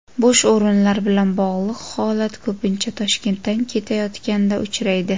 Bo‘sh o‘rinlar bilan bog‘liq holat ko‘pincha Toshkentdan ketayotganda uchraydi.